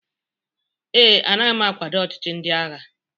ee, anaghị m akwado ọchịchị ndị agha